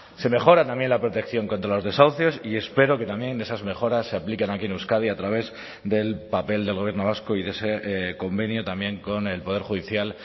se mejora también la protección contra los desahucios y espero que también esas mejoras se apliquen aquí en euskadi a través del papel del gobierno vasco y de ese convenio también con el poder judicial